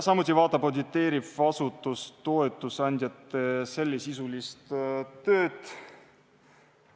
Samuti vaatab auditeeriv asutus toetusandjate sellesisulist tööd.